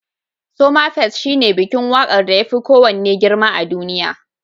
Somafest shine bikin waƙar da yafi kowanne girma a duniya.